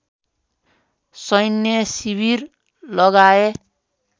सैन्य शिविर लगाए